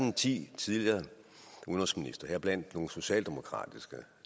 er ti tidligere udenrigsministre heriblandt nogle socialdemokratiske